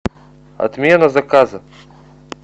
отмена заказа